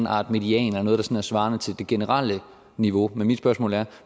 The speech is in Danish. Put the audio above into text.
art median af noget der sådan svarer til det generelle niveau men mit spørgsmål er